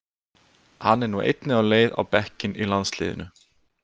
Hann er nú einnig á leið á bekkinn í landsliðinu.